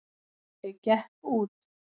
Ég gekk út.